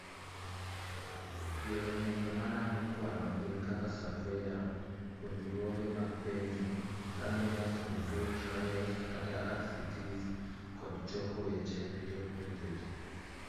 Yore nonro marango kwano gin kaka surveya, puonjruoge mag penjo, randomised control trials (RCTs) kod choko weche e yor penjo ji